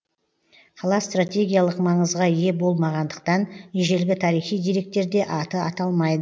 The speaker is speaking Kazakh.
қала стратегиялық маңызға ие болмағандықтан ежелгі тарихи деректерде аты аталмайды